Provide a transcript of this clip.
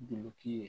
Duloki ye